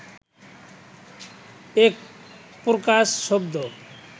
একপ্রকার শব্দ